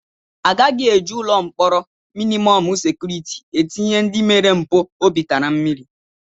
Agaghị eji ụlọ mkpọrọ mịnịmọm sekuriti etinye ndị mere mpụ obi tara mmiri.